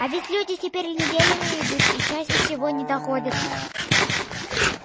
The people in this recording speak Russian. а ведь люди теперь неделями идут и чаще всего не доходят